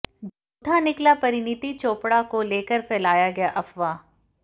झूठा निकला परिणित चोपड़ा को लेकर फैलाया गया अफवाह